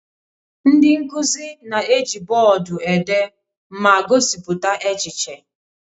Ndị nkuzi na-eji bọọdụ ede ma gosipụta echiche.